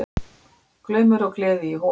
Glaumur og gleði í Hofi